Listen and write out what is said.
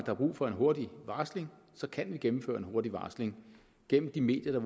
er brug for en hurtig varsling kan gennemføre en hurtig varsling gennem de medier